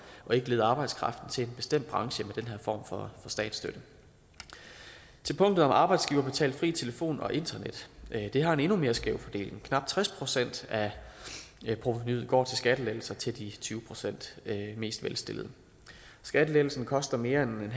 og ikke lede arbejdskraften til en bestemt branche med den her form for statsstøtte punktet om arbejdsgiverbetalt fri telefon og internet har en endnu mere skæv fordeling knap tres procent af provenuet går til skattelettelser til de tyve procent mest velstillede skattelettelsen koster mere end